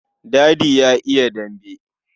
Dadi ya iya dambe.